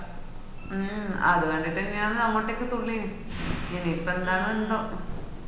മൂം അത് കണ്ടിട്ടെന്നാണ് അങ്ങോട്ട് തുള്ളിയേ ഇനീപ്പോ എന്താനെന്തോ